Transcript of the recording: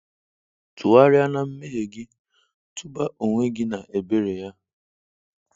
Tụgharịa na mmehie gị, tụba onwe gị na ebere Ya.